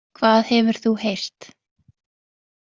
Hvað hefur þú heyrt?